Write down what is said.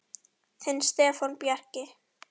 Þinn Stefán Bjarki.